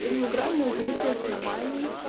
и двугранные углы при основании